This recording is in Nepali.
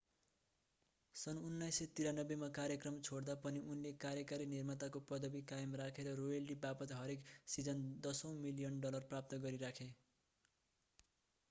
सन् 1993 मा कार्यक्रम छोड्दा पनि उनले कार्यकारी निर्माताको पदवी कायम राखे र रोयल्टी वापत हरेक सिजन दशौँ मिलियन डलर प्राप्त गरिराखे